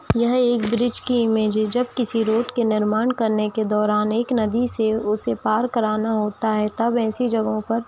यह एक ब्रिज की इमेज है जब की किसी रोड के निर्माण करने के दौरान एक नदी से उसे पार कराना होता है तब ऐसी जगहों पर--